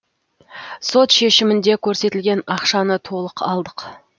сот шешімінде көрсетілген ақшаны толық алдық